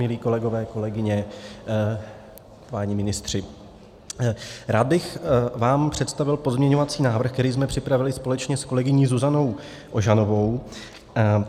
Milí kolegové, kolegyně, páni ministři, rád bych vám představil pozměňovací návrh, který jsme připravili společně s kolegyní Zuzanou Ožanovou.